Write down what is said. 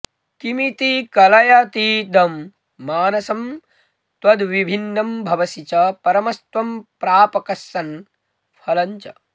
किमिति कलयतीदं मानसं त्वद्विभिन्नं भवसि च परमस्त्वं प्रापकस्सन् फलञ्च